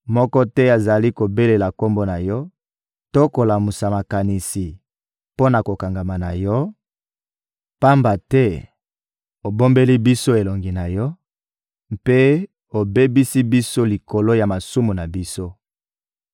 Moko te azali kobelela Kombo na Yo to kolamusa makanisi mpo na kokangama na Yo, pamba te obombeli biso elongi na Yo mpe obebisi biso likolo ya masumu na biso.